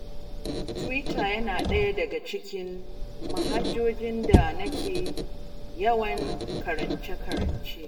Twitter yana ɗaya ɗaga cikin manhajojin da nake yawan karance-karance.